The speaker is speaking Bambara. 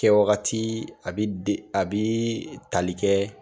Kɛwagati a bɛ tali kɛ